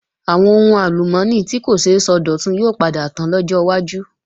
Àwọn ohun àlùmọ́ọ́nì tí kò ṣeé sọdọ̀tun yóò padà tán lọ́jọ́ wájú